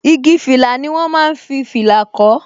Igi fìlà ni wọn máa ń fi fìlà kó